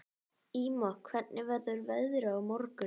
Ýma, hvernig verður veðrið á morgun?